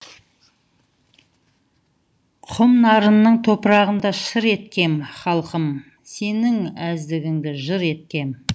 құм нарынның топырағында шыр еткем халқым сенің әздігіңді жыр еткем